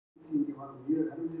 Hver teiknaði Þjóðarbókhlöðuna?